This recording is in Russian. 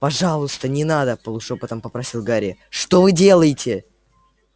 пожалуйста не надо полушёпотом попросил гарри что вы делаете